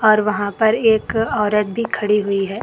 और वहां पर एक औरत भी खड़ी हुई है।